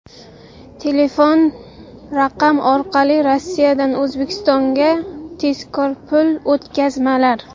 Telefon raqam orqali Rossiyadan O‘zbekistonga tezkor pul o‘tkazmalar!.